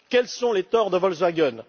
Quels sont les torts de Volkswagen?